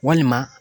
Walima